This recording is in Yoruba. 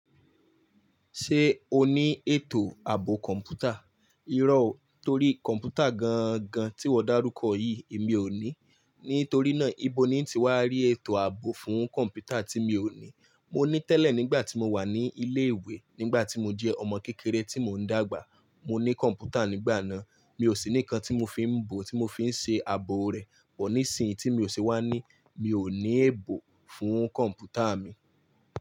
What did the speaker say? Ṣé o ní ètò ààbò kọ̀m̀pútà? Irọ́, torí kọ̀m̀pútà gan-an gan tí wọ́n dárúkọ yìí èmi ò ní. Nítorí náà, ìbọn ni ti wà rí ètò ààbò fún kọ̀m̀pútà tí mi ò ní. Mo ní tẹ́lẹ̀ nígbà tí mo wà ní ilé ìwé, nígbà tí mo jẹ́ ọmọ kékeré tí mò ń dàgbà. Mo ní kọ̀m̀pútà nígbà náà, mi ò sì ní kan tí mo fi ń bọ̀ tí mo fi ń ṣe ààbò rẹ̀. Bọ̀ ní ìsinyìí tí mi ò ṣe wá ní, mi ò ní èèbò fún kọ̀m̀pútà mi.